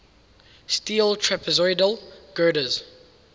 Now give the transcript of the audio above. steel trapezoidal girders